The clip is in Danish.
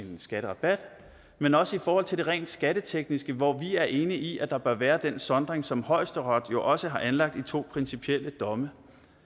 skatterabat men også i forhold til det rent skattetekniske hvor vi er enige i at der bør være den sondring som højesteret jo også har anlagt i to principielle domme